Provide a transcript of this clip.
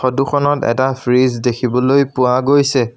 Photo খনত এটা fridge দেখিবলৈ পোৱা গৈছে।